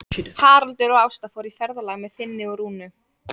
Haraldur og Ásta fóru í ferðalag með Finni og Rúnu.